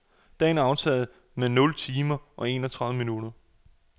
Dagen er aftaget med nul timer og enogtredive minutter.